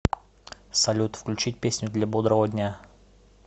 салют включить песню для бодрого дня